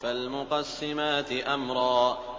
فَالْمُقَسِّمَاتِ أَمْرًا